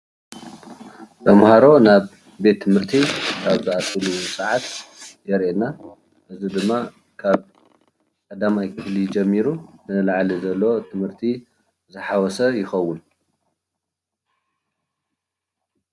ተምሃሮ ናብ ቤት ትምህርቲ ኣብ ዝኣትዉሉ ስዓት ዘርእየና ካብ ቀዳማይ ክፍሊ ጀሚሩ ንላዕሊ ትምህርቲ ዝሓወሰ ይከውን ።